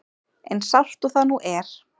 Eins sárt og það nú er.